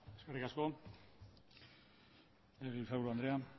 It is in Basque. eskerrik asko legebiltzarburu andrea